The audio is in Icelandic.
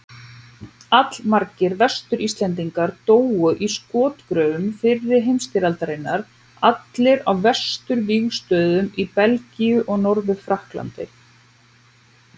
Allmargir Vestur-Íslendingar dóu í skotgröfum fyrri heimsstyrjaldarinnar, allir á vesturvígstöðvunum í Belgíu og Norður-Frakklandi.